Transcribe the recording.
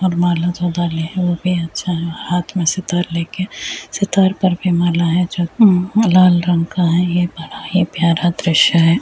और माला लिए है वो भी अच्छा है हाथ में सितार लेके सितार पर भी माला है जो अ लाल रंग का है ये बड़ा ही प्यारा दृश्य है।